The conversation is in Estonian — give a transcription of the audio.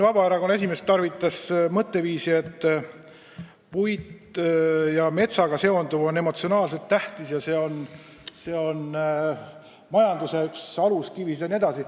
Vabaerakonna esimees toonitas, et puit ja metsaga seonduv on emotsionaalselt tähtis ja ka üks majanduse alustalasid.